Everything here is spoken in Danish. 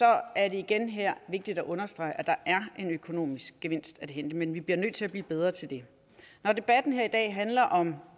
er det igen her vigtigt at understrege at der er en økonomisk gevinst af hente men vi bliver nødt til at blive bedre til det når debatten her i dag handler om